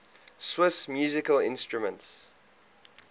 swiss musical instruments